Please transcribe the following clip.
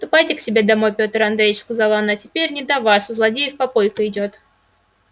ступайте к себе домой пётр андреич сказала она теперь не до вас у злодеев попойка идёт